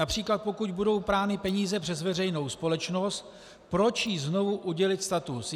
Například pokud budou prány peníze přes veřejnou společnost, proč jí znovu udělit status.